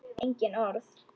Engin orð.